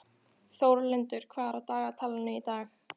Þórlindur, hvað er á dagatalinu í dag?